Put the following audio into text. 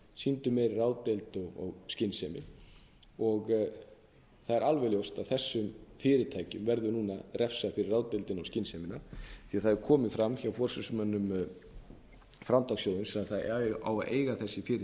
jafngeyst sýndu meiri ráðdeild og skynsemi það er alveg ljóst að þessum fyrirtækjum verður núna refsað fyrir ráðdeildina og skynsemina því að það hefur komið fram hjá forsvarsmönnum framtakssjóðsins að það á að eiga þessi